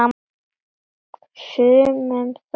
Sumum þótti!